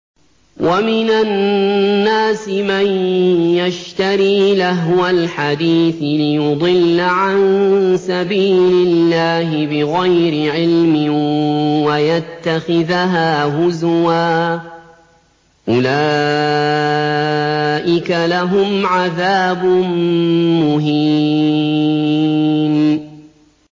وَمِنَ النَّاسِ مَن يَشْتَرِي لَهْوَ الْحَدِيثِ لِيُضِلَّ عَن سَبِيلِ اللَّهِ بِغَيْرِ عِلْمٍ وَيَتَّخِذَهَا هُزُوًا ۚ أُولَٰئِكَ لَهُمْ عَذَابٌ مُّهِينٌ